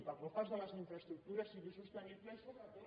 perquè el pas de les infraestructures sigui sostenible i sobretot